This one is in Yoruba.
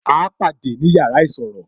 A pàdé ni yàrá isọ̀rọ̀